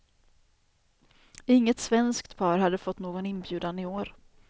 Inget svenskt par hade fått någon inbjudan i år.